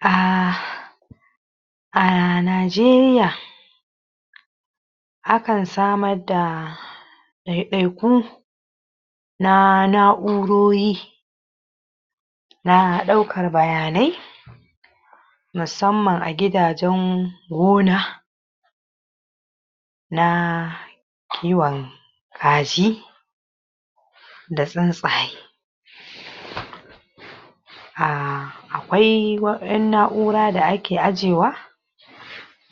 a a Najeriya akan samar da ɗai-ɗaikun na na'urori na ɗaukar bayanai musamman a gidajen gona na kiwon kaji da tsuntsaye a akwai um na'ura da ake ajewa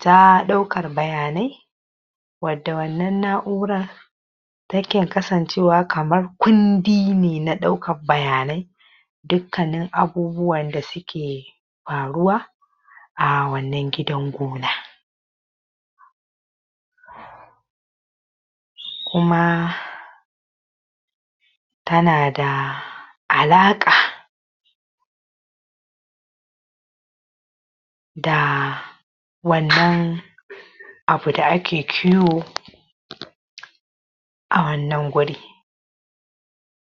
ta ɗaukar bayanai wadda wannan na'urar take kasancewa kamar kundi ne na ɗaukar bayanai dukkanin abubuwan da suke faruwa a wannan gidan gona kuma tana da alaƙa da wannan abu da ake kiwo a wannan guri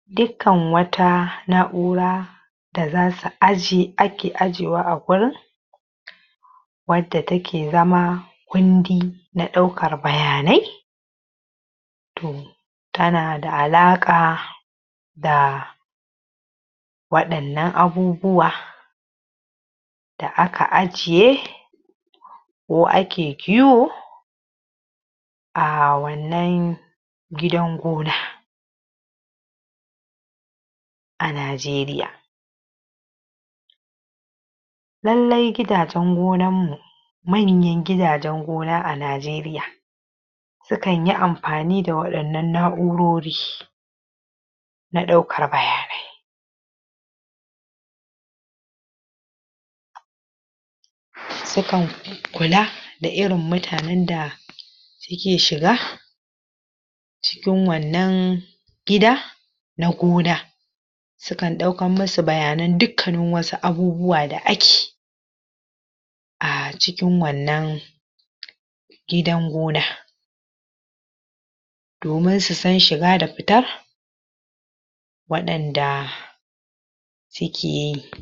dukkan wata na'ura da zasu um ake ajewa a gurin wanta take zama kundi na ɗaukar bayanai to tana da alaƙa da waɗannan abubuwa da aka ajiye ko ake kiwo a wannan gidan gona a Najeriya lallai gidajen gonan mu manyan gidajen gona a Najeriya sukan yi amfani da waɗannan na'urori na ɗaukar bayanai su kan kula da irin mutanen da su ke shiga cikin wannan gida na gona su kan ɗaukan mu su bayanan dukkanin wasu abubuwa da ake a cikin wannan gidan gona domin su san shiga da fita waɗanda suke yi